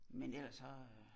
Men ellers så øh